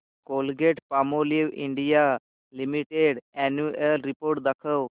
Colgate Palmolive India limited annual report दाखव